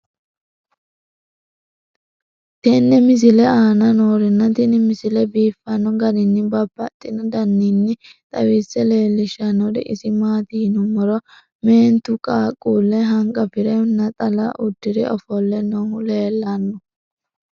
tenne misile aana noorina tini misile biiffanno garinni babaxxinno daniinni xawisse leelishanori isi maati yinummoro meenttu qaaqule hanqafire naxxalla uddire offolle noohu leelanno.